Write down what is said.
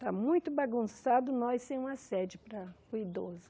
Está muito bagunçado nós sem uma sede para para o idoso.